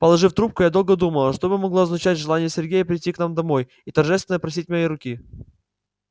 положив трубку я долго думала что бы могло означать желание сергея прийти к нам домой и торжественно просить моей руки